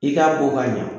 I k'a bɔ ka ɲa